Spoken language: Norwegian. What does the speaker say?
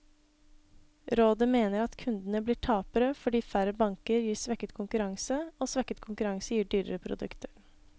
Rådet mener at kundene blir tapere, fordi færre banker gir svekket konkurranse, og svekket konkurranse gir dyrere produkter.